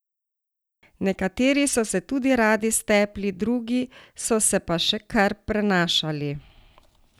Nekateri so se tudi radi stepli, drugi so se pa še kar prenašali.